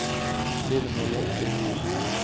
Lillemor Lindqvist